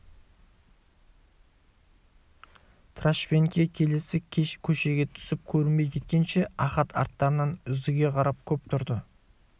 трашпенке келесі көшеге түсіп көрінбей кеткенше ахат арттарынан үздіге қарап көп тұрды